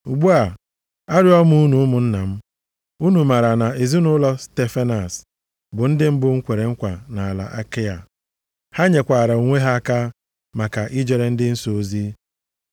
Ugbu a, arịọ m unu ụmụnna m, unu maara na ezinaụlọ Stefanas bụ ndị mbụ kwere ekwe nʼala Akaịa. + 16:15 Akaịa bụkwa Griis. Ha nyekwara onwe ha maka ijere ndị nsọ ozi.